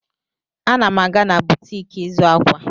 Ana m aga na butik ịzụ akwa.